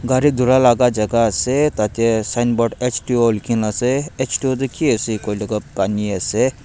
gari dhulai laga jagah ase tatey signboard H two O likhina ase H two O ki ase kuile toh pani ase.